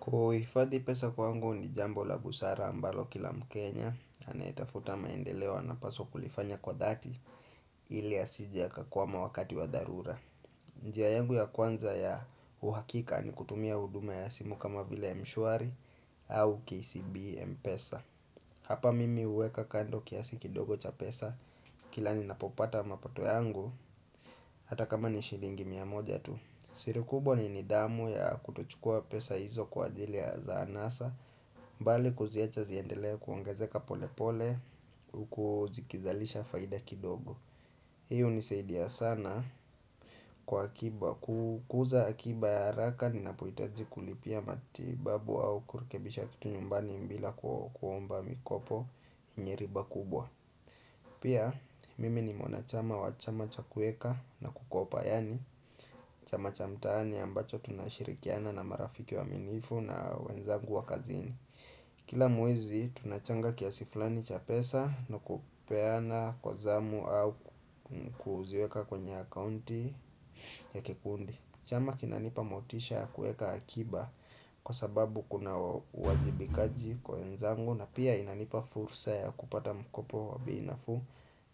Kuhifadhi pesa kwangu ni jambo la busara ambalo kila mkenya, anayetafuta maendeleo anapaswa kulifanya kwa dhati ili asije akakua ma wakati wa dharura. Njiayangu ya kwanza ya uhakika ni kutumia huduma ya simu kama vile mshwari au KCB mpesa. Hapa mimi huweka kando kiasi kidogo cha pesa kila ni napopata mapato yangu hata kama ni shilingi miamoja tu. Sirikubwa ni nidhamu ya kutochukua pesa hizo kwa ajili ya za anasa bali kuziacha ziendelee kuongezeka pole pole huku zikizalisha faida kidogo hiyo hunisaidia sana kwa akiba kukuza akiba ya haraka ni napohitaji kulipia matibabu au kurekebisha kitu nyumbani bila kuomba mikopo yenye riba kubwa Pia mimi ni mwanachama wachama chakueka na kukopa yani Chama chamtaani ambacho tunashirikiana na marafiki waaminifu na wenzangu wa kazini Kila mwezi tunachanga kiasiflani cha pesa na kupeana kwa zamu au kuziweka kwenye akaunti ya kikundi Chama kinanipa motisha ya kueka akiba kwa sababu kuna uwajibikaji kwa wenzangu na pia inanipa fursa ya kupata mkopo wa bei nafuu